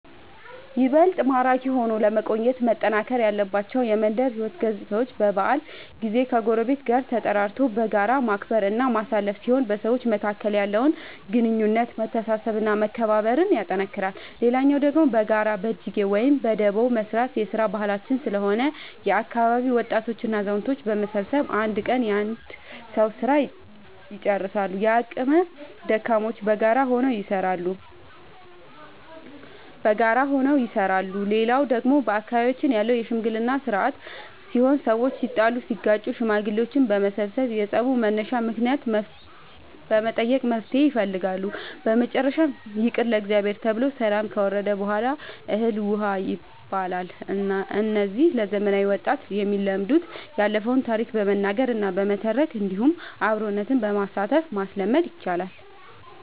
ይበልጥ ማራኪ ሆኖ ለመቆየት መጠናከር ያለባቸው የመንደር ሕይወት ገፅታዎች በበዓል ጊዜ ከጎረቤት ጋር ተጠራርቶ በጋራ ማክበር እና ማሳለፍ ሲሆን በሰዎች መካከል ያለውን ግንኙነት መተሳሰብ እና መከባበር ያጠነክራል። ሌላው ደግሞ በጋራ በጅጌ ወይም በዳቦ መስራት የስራ ባህላችን ስለሆነ የአካባቢ ወጣቶች እና አዛውቶች በመሰብሰብ አንድ ቀን የአንድ ሰዉ ስራ ልጨርሳሉ። የአቅመ ደካሞችንም በጋራ ሆነው ይሰራሉ። ሌላው ደግሞ በአካባቢያችን ያለው የሽምግልና ስርአት ሲሆን ሰዎች ሲጣሉ ሲጋጩ ሽማግሌዎች በመሰብሰብ የፀቡን መነሻ ምክንያት በመጠየቅ መፍትሔ ይፈልጋሉ። በመጨረሻም ይቅር ለእግዚአብሔር ተብሎ ሰላም ከወረደ በሗላ እህል ውሃ ይባላል። እነዚህ ለዘመናዊ ወጣት የሚለመዱት ያለፈውን ታሪክ በመናገር እና በመተረክ እንዲሁም አብሮ በማሳተፍ ማስለመድ ይቻላል።